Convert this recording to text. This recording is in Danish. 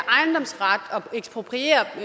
ekspropriere